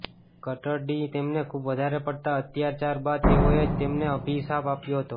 ક્ટડીમાં તેમને ખૂબ વધારે પડતા અત્યાચાર બાદ તેઓએ જ તેમને અભિષાપ આપ્યો હતો